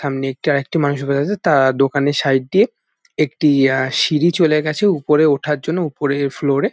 সামনে একটি আরেকটি মানুষ বয়ে আছে তার দোকানের সাইড দিয়ে একটি আ সিঁড়ি চলে গাছে উপরে ওঠার জন্য উপরের ফ্লোর -এ।